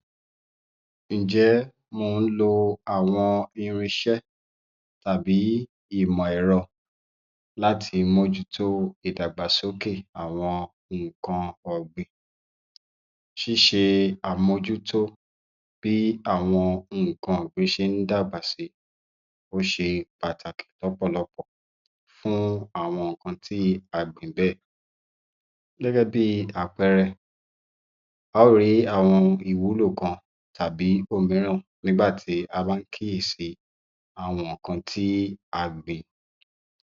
41. Ǹjẹ́ mò ń lo àwọn irinṣẹ́ tàbí ìmọ̀ ẹ̀rọ láti mójútó ìdàgbàsókè àwọn nǹkan ọ̀gbìn. Ṣíṣe àmójútó bí àwọn nǹkan ọ̀gbìn ṣe ń dàgbà si, ó ṣe pàtàkì lọ́pọ̀lọpọ̀ fún àwọn nǹkan tí a gbìn bẹ́ẹ̀. Gẹ́gẹ́ bíi àpẹẹrẹ a ó rìí àwọn ìwúlò kan tàbí ohun mìíràn nígbà tí a bá ń kíyèsi àwọn nǹkan tí a gbìn.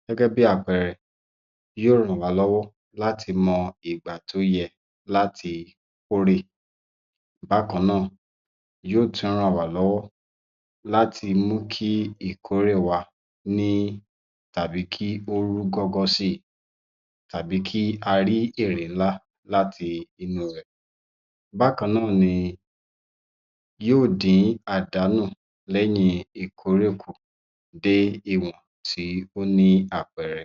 Gẹ́gẹ́ bí àpẹẹrẹ, yóò ràn wá lọ́wọ́ láti mọ ìgbà tó yẹ láti kórè bákan náà yóò tú ràn wá lọ́wọ́ láti mú kí ìkórè wa ní tàbí kí ó rú gọ́gọ́ síi tàbí kí a rí èrè ńlá láti inú rẹ̀. Bákan náà ni yóò dín àdánù lẹ́yìn ìkórè kùn dé ìwọ̀n tí ó ní àpẹẹrẹ.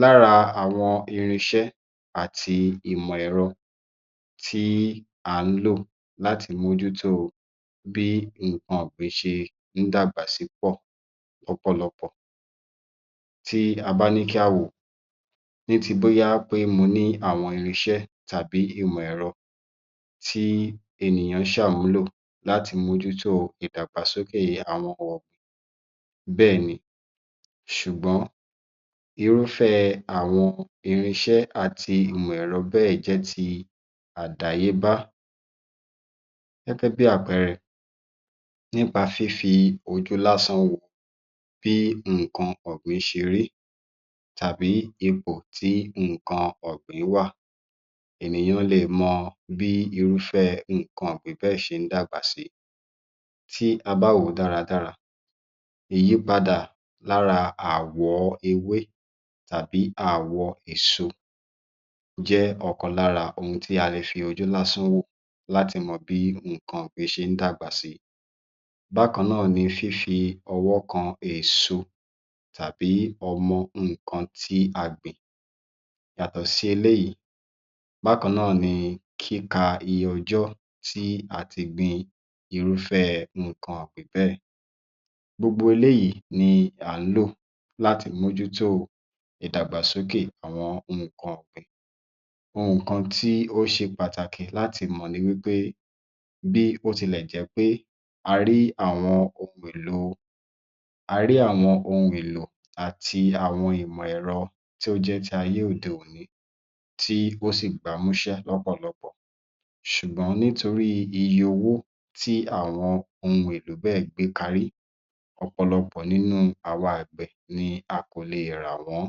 Lára àwọn irinṣẹ́ àti ìmọ̀ ẹ̀rọ tí à ń lò láti mójútó bí nǹkan gbìn ṣe ń dàgbà si pọ̀ lọ́pọ̀lọpọ̀ tí a bá ní kí á wòó ní ti bóyá pé mo ní àwọn irinṣẹ́ tàbí ìmọ̀ ẹ̀rọ tí ènìyàn ṣàmúlò láti mójútó ìdàgbàsókè àwọn kan bẹ́ẹ̀ ni ṣùgbọ́n irúfẹ́ àwọn irinṣẹ́ àti ìmọ̀ ẹ̀rọ bẹ́ẹ̀ jẹ́ ti àdáyébá gẹ́gẹ́ bí àpẹẹrẹ nípa fífi ojú lásán wo bí nǹkan ọ̀gbìn ṣe rí tàbí ipò tí nǹkan ọ̀gbìn wà. Ènìyàn lè mọ bí irúfẹ́ nǹkan ọ̀gbìn bẹ́ẹ̀ ṣe ń dàgbà si, tí a bá wòó dáradára ìyípadà lára ààwọ̀ ewé tàbí àwọ̀ iṣu jẹ́ ọ̀kan lára ohun tí a le fi ojú lásán wò láti mọ bí nǹkan ọ̀gbìn ṣe ń dàgbà síi. Bákan náà ni fífi ọwọ́ kan èèso tàbí ọmọ nǹkan tí a gbìn yàtọ̀ sí eléyìí. Bákan náà ni kíka iye ọjọ́ tí a ti gbin irúfẹ́ nǹkan ọ̀gbìn bẹ́ẹ̀, gbogbo eléyìí ni à ń lò láti mójútó ìdàgbàsókè àwọn nǹkan ọ̀gbìn. Nǹkan tí ó ṣe pàtàkì láti mọ̀ ni wí pé, bí ó tilẹ̀ jẹ́ pé a rí àwọn ohun èlòo, a rí àwọn ohun èlò àti àwọn ìmọ̀ ẹ̀rọ tí ó jẹ́ tayé òde òní tí ó sì gbámúṣé lọ́pọ̀lọpọ̀ ṣùgbọ́n nítorí iye owó tí àwọn ohun èlò bẹ́ẹ̀ gbékarí, ọ̀pọ̀lọpọ̀ nínú àwa àgbẹ̀ ni a kò leè rà wọ́n